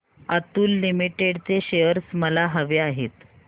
Atul limited चे shares मला हवे आहेत